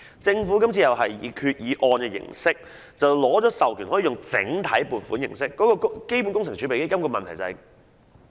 政府今次同樣希望透過決議案取得授權後採用整體撥款形式，而這正是基本工程儲備基金的問題所在。